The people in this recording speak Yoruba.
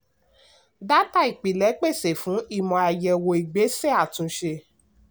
dátà ìpilẹ̀ pèsè ìmọ̀ fún àyẹ̀wò ìgbésẹ àtúnṣe.